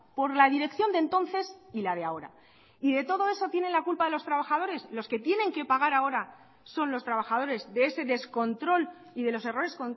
por la dirección de entonces y la de ahora y de todo eso tiene la culpa los trabajadores los que tienen que pagar ahora son los trabajadores de ese descontrol y de los errores